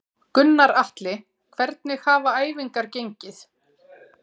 Gunnar Atli: Hvernig hafa æfingar gengið?